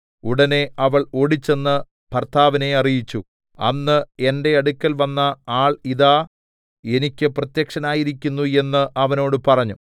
ഉടനെ അവൾ ഓടിച്ചെന്ന് ഭർത്താവിനെ അറിയിച്ചു അന്ന് എന്റെ അടുക്കൽ വന്ന ആൾ ഇതാ എനിക്ക് പ്രത്യക്ഷനായിരിക്കുന്നു എന്ന് അവനോട് പറഞ്ഞു